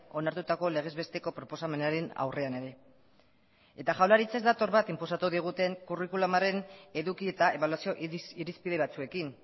onartutako legez besteko proposamenaren aurrean ere eta jaurlaritza ez dator bat inposatu diguten curriculumaren eduki eta ebaluazio irizpide batzuekin